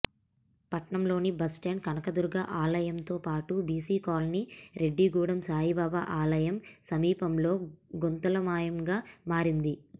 పట్టణంలోని బస్టాండ్ కనకదుర్గ ఆలయంతో పాటు బీసీ కాలనీ రెడ్డిగూడెం సాయిబాబా ఆలయం సమీపంలో గుంతలమయంగా మారింది